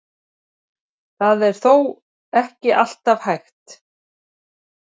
Þetta er þó ekki alltaf hægt.